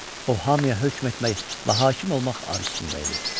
O hamıya hökm etmək və hakim olmaq arzusunda idi.